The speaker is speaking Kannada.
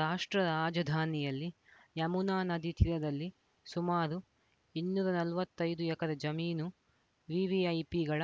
ರಾಷ್ಟ್ರ ರಾಜಧಾನಿಯಲ್ಲಿ ಯಮುನಾ ನದಿ ತೀರದಲ್ಲಿ ಸುಮಾರು ಇನ್ನೂರ ನಲವತ್ತೈದು ಎಕರೆ ಜಮೀನು ವಿವಿಐಪಿಗಳ